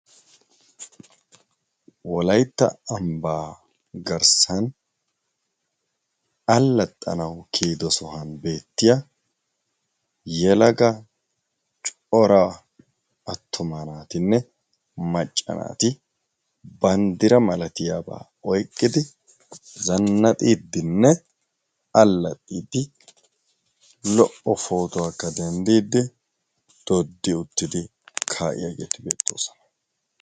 wolaitta ambbaa garssan allaxxanawu kiyido sohuwan beettiya yelaga cora attoma naatinne macca naati banddira malatiyaabaa oiqqidi zannaxiiddinne allaxxiiddi lo77o pootuwaakka denddiiddi doddi uttidi kaa7iyaageeti beettoosona